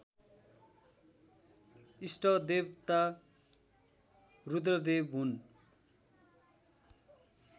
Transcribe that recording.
इष्टदेवता रुद्रदेव हुन्